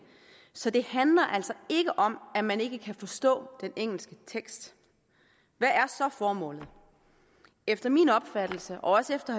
så det handler altså ikke om at man ikke kan forstå den engelske tekst hvad er så formålet efter min opfattelse og også efter